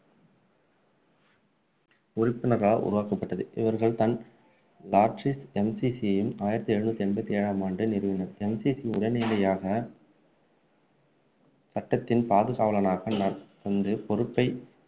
உறுப்பினரால் உருவாக்கப்பட்டது இவர்கள்தான் லார்ட்சில் MCC யும் ஆய்ரத்து எழுநூற்று எண்பத்து ஏழாம் ஆண்டு நிறுவினர் MCC உடனடியாக சட்டத்தின் பாதுகாவலனாக கொண்டு பொறுப்பை